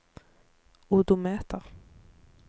odometer